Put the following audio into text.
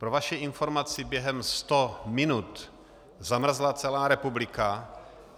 Pro vaši informaci, během 100 minut zamrzla celá republika.